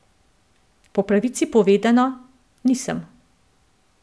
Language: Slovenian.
Po pravici povedano, nisem.